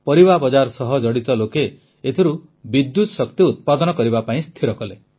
ପରିବା ବଜାର ସହ ଜଡ଼ିତ ଲୋକେ ଏଥିରୁ ବିଦ୍ୟୁତ ଶକ୍ତି ଉତ୍ପାଦନ କରିବା ପାଇଁ ସ୍ଥିର କଲେ